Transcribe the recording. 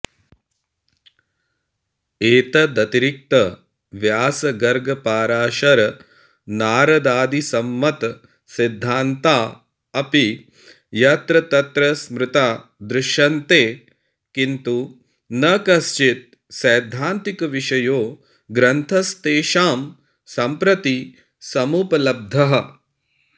एतदतिरिक्त व्यासगर्गपराशरनारदादिसम्मतसिद्धान्ता अपि यत्र तत्र स्मृता दृश्यन्ते किन्तु न कश्चित् सैद्धान्तिकविषयो ग्रन्थस्तेषां सम्प्रति समुपलब्धः